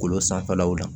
Kolo sanfɛlaw la